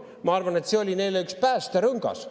Ma arvan, et see oli neile üks päästerõngas.